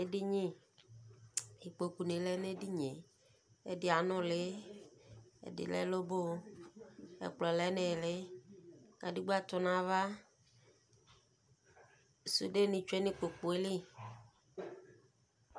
Edini, ikpokʋ ni lɛ nʋ edini e Ɛdi anʋli, ɛdi lɛ loboo Ɛkplɔ lɛ nʋ ili Kadigba tʋ nʋ ava Sude ni tsue nʋ ikpoku yɛ li